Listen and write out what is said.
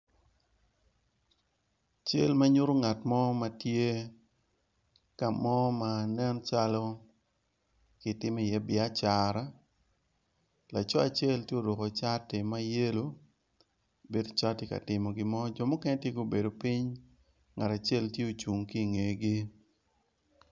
Cal manyuto ngat mo ma tye ka mo ma nen calo ki timo iye biacara, laco acel tye oruku cati ma yelo, bedo calo ti katimo gimo jo mukene ti gubedo piny, ngat acel ti ocung ki ingegi.